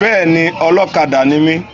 Bẹ́ẹ̀ni, Ọlọ́kadà ni mi.